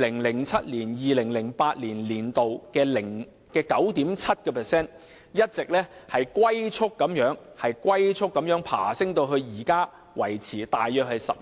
2007-2008 年度的 9.7%， 一直龜速爬升至現時維持在大約 11%。